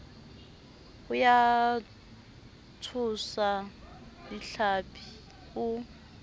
ya ho tshwasa dihlapi o